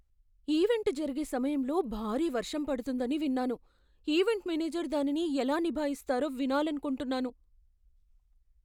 Event జరిగే సమయంలో భారీ వర్షం పడుతుందని విన్నాను, ఈవెంట్ మేనేజర్ దానిని ఎలా నిభాయిస్తారో వినాలనుకుంటున్నాను.